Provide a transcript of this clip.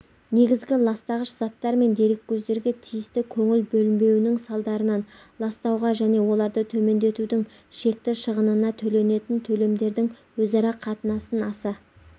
негізгі ластағыш заттар мен дереккөздерге тиісті көңіл бөлінбеуінің салдарынан ластауға және оларды төмендетудің шекті шығынына төленетін төлемдердің өзара қатынасын аса